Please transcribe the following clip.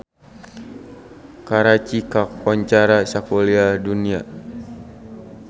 Karachi kakoncara sakuliah dunya